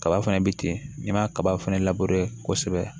Kaba fɛnɛ bi ten n'i ma kaba fɛnɛ labure kosɛbɛ